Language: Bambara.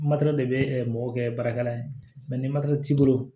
Matɛrɛ de bɛ mɔgɔ kɛ baarakɛla ye ni t'i bolo